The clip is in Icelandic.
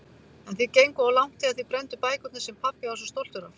En þið genguð of langt þegar þið brennduð bækurnar sem pabbi var svo stoltur af.